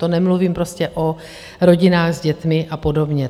To nemluvím prostě o rodinách s dětmi a podobně.